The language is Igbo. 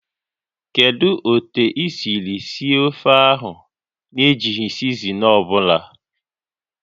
Kedu otu i siri sie ofe a na-ejighị sizinin ọ bụla?